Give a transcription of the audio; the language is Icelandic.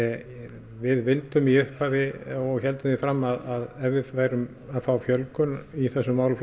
við vildum í upphafi og héldum því fram að ef við værum að fá fjölgun í þessum málaflokki